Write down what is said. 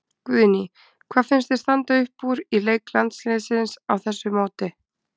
Guðný: Hvað finnst þér standa upp úr í leik landsliðsins á þessu móti?